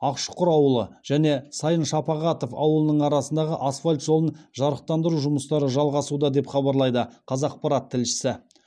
ақшұқыр ауылы және сайын шапағатов ауылының арасындағы асфальт жолын жарықтандыру жұмыстары жалғасуда деп хабарлайды қазақпарат тілшісі